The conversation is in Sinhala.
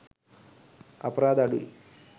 අපරාධ අඩුයි.